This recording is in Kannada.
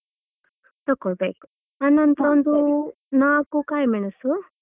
ತಕೊಳ್ಬೇಕು ಆನಂತ್ರ ಒಂದು ನಾಕು ಕಾಯ್ಮೆಣಸು.